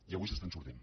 i avui se n’està sortint